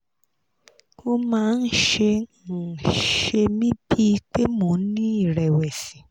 ó máa ń ṣe ń ṣe mí bíi pé mo ń ní ìrẹ̀wẹ̀sì